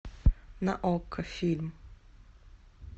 на окко фильм